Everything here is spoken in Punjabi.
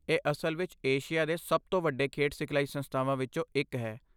ਇਹ ਅਸਲ ਵਿੱਚ ਏਸ਼ੀਆ ਦੇ ਸਭ ਤੋਂ ਵੱਡੇ ਖੇਡ ਸਿਖਲਾਈ ਸੰਸਥਾਵਾਂ ਵਿੱਚੋਂ ਇੱਕ ਹੈ।